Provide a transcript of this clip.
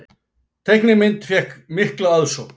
Teiknimynd fékk mikla aðsókn